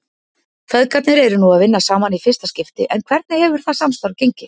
Feðgarnir eru nú að vinna saman í fyrsta skipti en hvernig hefur það samstarf gengið?